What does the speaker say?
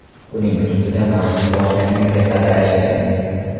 Buning ustida mavsum boshlangunga qadar ishlaymiz.